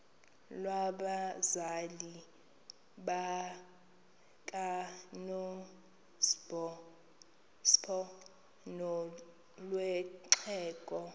lwabazali bakanozpho nolwexhego